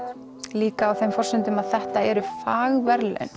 líka á þeim forsendum að þetta eru